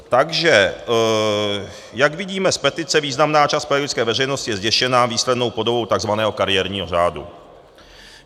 Takže jak vidíme z petice, významná část pedagogické veřejnosti je zděšena výslednou podobou tzv. kariérního řádu.